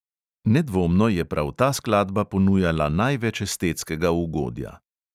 Nedvomno je prav ta skladba ponujala največ estetskega ugodja.